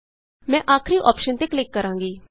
ਮੈਂ ਆਖਰੀ ਅੋਪਸ਼ਨ ਤੇ ਕਲਿਕ ਕਰਾਂਗੀ